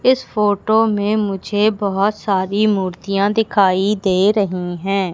इस फोटो में मुझे बहोत सारी मूर्तियां दिखाई दे रही हैं।